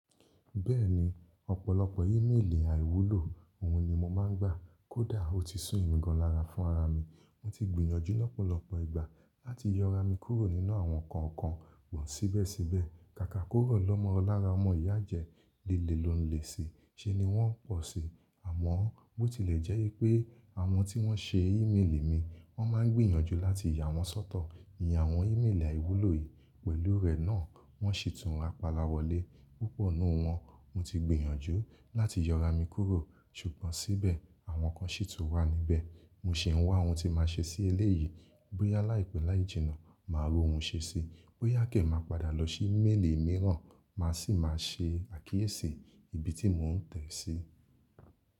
Bẹ́ẹ̀ni, ọ̀pọ̀lọpọ̀ ímeèlì àìwúlò òun ni mo máa ń gbà. Kódà ó ti súnmì gàn lára fún ara mi, mo ti gbìyànjú lọ́pọ̀lọpọ̀ ìgbà láti yọ ara mi kúrò nínú àwọn kọ̀ọ̀kan wọ́n síbẹ̀síbẹ̀. Kàkà korò lọ́mọ lára ọmọ ìyá ajẹ, léle lò ń le ṣi, ṣé ni wọ́n pọ̀ sí? Àmọ́n, bó tilẹ̀ jẹ́ wipé àwọn tí wọ́n ṣe ímeèlì mi, wọ́n máa ń gbìyànjú láti ya wọn sọ́tọ̀. Ìyẹn àwọn ímeèlì àìwúlò yìí, pẹ̀lú rẹ̀ náà wọ́n ṣètùn rapala wọlé. Púpọ̀ nínú wọn mo ti gbìyànjú láti yọ ara mi kúrò, ṣùgbọ́n síbẹ̀ àwọn kan ṣètù wà níbẹ̀. Mo sì ń wá ohun tí màá ṣe sí eléyìí. Boyá láìpẹ́ láì jìnnà, màá rí ohun ṣe sí. Bó yá kẹ̀, màá padà lọ sí ímeèlì mìíràn, màá sì máa ṣe àkíyèsí ibi tí mò ń tẹ̀ sí.